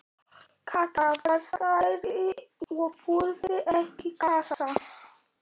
Kata var stærri og þurfti ekki kassa.